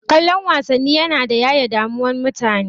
Kallon wasanni yana yaye damuwan mutane.